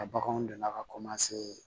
A baganw delila ka